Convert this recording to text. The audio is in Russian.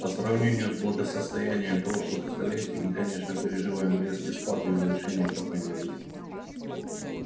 по сравнению с благосостоянием прошлых столетий мы конечно переживаем резкий спад и улучшения пока не видно